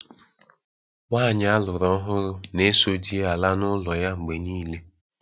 Nwaanyị aluru ọhụrụ na-eso di ya ala n’ụlọ ya mgbe niile.